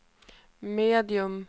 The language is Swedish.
medium